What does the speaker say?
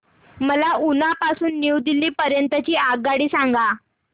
मला उना पासून न्यू दिल्ली पर्यंत ची आगगाडी सांगा